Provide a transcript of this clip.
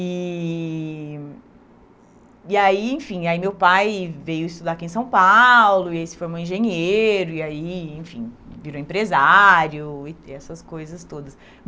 E e aí, enfim, aí meu pai veio estudar aqui em São Paulo e se formou engenheiro e aí, enfim, virou empresário e essas coisas todas.